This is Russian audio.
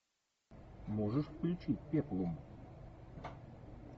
можешь включить пеплум